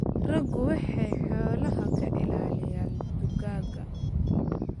Raggu waxay xoolaha ka ilaaliyaan dugaagga.